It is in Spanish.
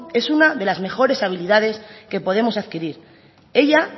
es una de las mejores habilidades que podemos adquirir ella